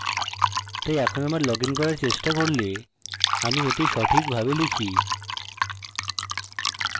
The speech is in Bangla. তাই এখন আবার লগইন করার চেষ্টা করলে আমি এটি সঠিকভাবে type